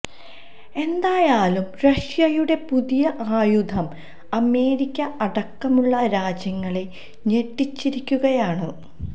എന്തായാലും റഷ്യയുടെ പുതിയ ആയുധം അമേരിക്ക അടക്കമുള്ള രാജ്യങ്ങളെ ഞെട്ടിച്ചിരിക്കുകയാണ്